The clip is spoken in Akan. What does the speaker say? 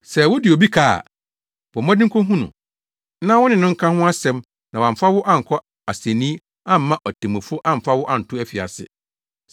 Sɛ wode obi ka a, bɔ mmɔden kohu no na wone no nka ho asɛm na wamfa wo ankɔ asennii amma otemmufo amfa wo anto afiase.